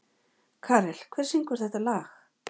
Karel, hver syngur þetta lag?